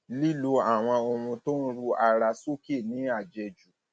lílo àwọn ohun tó ń ru ara sókè ní àjẹjù